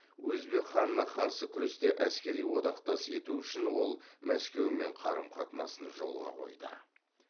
өзбек ханына қарсы күресте әскери одақтас ету үшін ол мәскеумен қарым қатынасын жолға қойды